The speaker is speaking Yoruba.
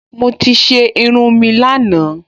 Mo ti ṣe irun mi lánàá